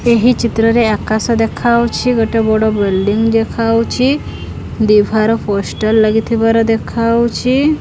ଏହି ଚିତ୍ରରେ ଆକାଶ ଦେଖାଉଚି ଗୋଟେ ବଡ଼ ବିଲଡିଂ ଦେଖାଉଚି ବିବାହର ପୋଷ୍ଟର ଲାଗି ଥିବାର ଦେଖାଉଚି।